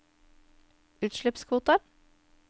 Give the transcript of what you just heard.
utslippskvoter